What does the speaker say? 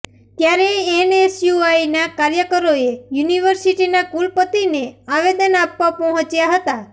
ત્યારે એનએસયુઆઈના કાર્યકરોએ યુનિવર્સિટીના કુલપતિને આવેદન આપવા પહોંચ્યા હતા